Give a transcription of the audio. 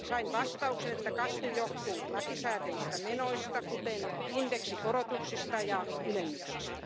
Sain vastauksen, että kasvu johtuu lakisääteisistä menoista, kuten indeksikorotuksista ja ylennyksistä.